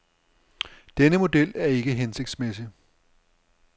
Denne model er ikke hensigtsmæssig.